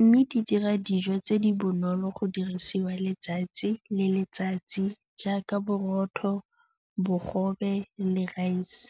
mme di dira dijo tse di bonolo go dirisiwa letsatsi le letsatsi jaaka borotho, bogobe le raese.